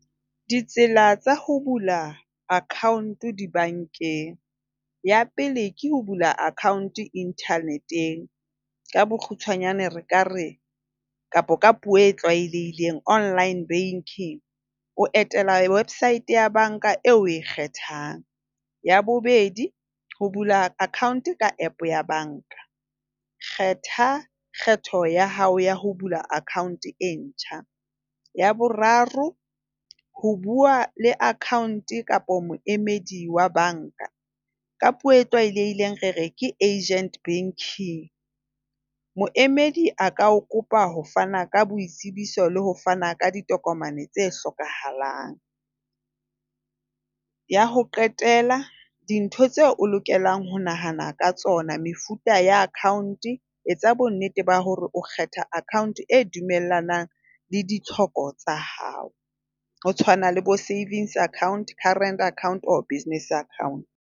Ditsela tsa ho bula cccount dibankeng. Ya pele, ke ho bula account internet-eng. Ka bokgutshwanyane, re ka re kapa ka puo e tlwaelehileng online banking. O etela website ya banka eo o e kgethang. Ya bobedi, o bula account ka app ya banka. Kgetha kgetho ya hao ya ho bula account e ntjha. Ya boraro, ho bua le account kapa moemedi wa banka. Ka puo e tlwaelehileng re re ke Agent Banking. Moemedi a ka o kopa ho fana ka boitsebiso le ho fana ka ditokomane tse hlokahalang. Ya ho qetela, dintho tseo o lokelang ho nahana ka tsona. Mefuta ya account. Etsa bonnete ba hore o kgetha account e dumellanang le ditlhoko tsa hao. Ho tshwana le bo-savings account, current account or business account.